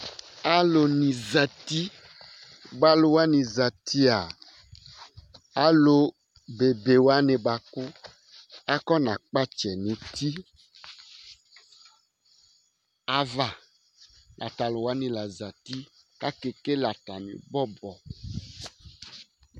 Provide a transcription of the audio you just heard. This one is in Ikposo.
Alu ni zɛti Alu wani zɛti'a, alu be be wani bʋakʋ afɔna kpatsɛ nʋ ʋti ava Tatu wani la zɛti kʋ akekele atami bɔbɔ